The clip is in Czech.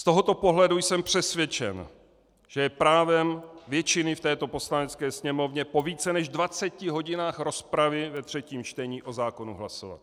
Z tohoto pohledu jsem přesvědčen, že je právem většiny v této Poslanecké sněmovně po více než 20 hodinách rozpravy ve třetím čtení o zákonu hlasovat.